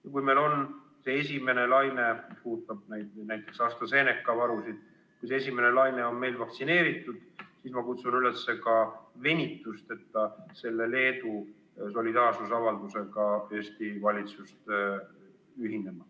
Ja kui meil on selle esimese laine käigus – ma pean silmas AstraZeneca varusid – inimesed vaktsineeritud, siis ma kutsun Eesti valitsust üles venitusteta selle Leedu solidaarsusavaldusega ühinema.